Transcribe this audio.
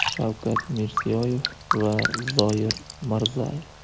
Shavkat Mirziyoyev va Zoyir Mirzayev.